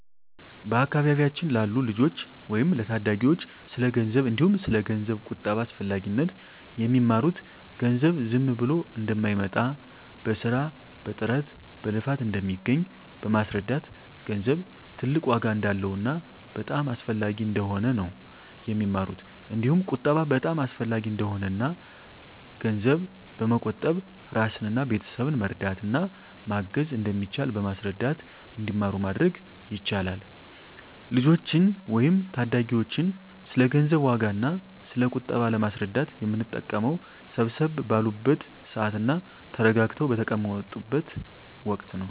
በአካባቢያችን ላሉ ልጆች ወይም ለታዳጊዎች ስለ ገንዘብ እንዲሁም ስለ ገንዘብ ቁጠባ አስፈላጊነት የሚማሩት ገንዘብ ዝም ብሎ እንደማይመጣ በስራ በጥረት በልፋት እንደሚገኝ በማስረዳት ገንዘብ ትልቅ ዋጋ እንዳለውና በጣም አስፈላጊ እንደሆነ ነው የሚማሩት እንዲሁም ቁጠባ በጣም አሰፈላጊ እንደሆነና እና ገንዘብ በመቆጠብ እራስንና ቤተሰብን መርዳት እና ማገዝ እንደሚቻል በማስረዳት እንዲማሩ ማድረግ ይቻላል። ልጆችን ወይም ታዳጊዎችን ስለ ገንዘብ ዋጋ እና ስለ ቁጠባ ለማስረዳት የምንጠቀመው ሰብሰብ ባሉበት ስዓት እና ተረጋግተው በተቀመጡት ወቀት ነው።